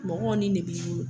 Mɔgɔw ni de b'i bolo.